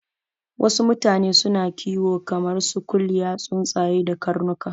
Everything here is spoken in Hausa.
Wasu mutane suna kiwo kamar su kuliya, tsuntsaye da karnuka